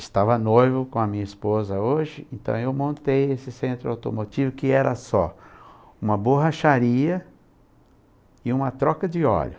estava noivo com a minha esposa hoje, então eu montei esse centro automotivo que era só uma borracharia e uma troca de óleo.